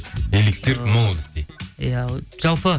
элексир молодости иә жалпы